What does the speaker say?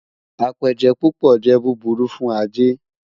Apéjẹ́ púpọ̀ jẹ́ búbúrù fún ajẹ́.